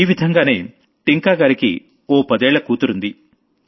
ఈ విధంగామో టింకా గారికి ఓ పదేళ్ల కూతురుంది